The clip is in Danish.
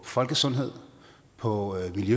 folkesundhed og i